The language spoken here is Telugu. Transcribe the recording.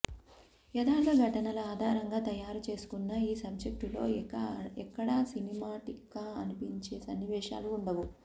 యదార్థ ఘటనల ఆధారంగా తయారు చేసుకున్న ఈ సబ్జెక్టులో ఎక్కడా సినిమాటిక్గా అనిపించే సన్నివేశాలు వుండవు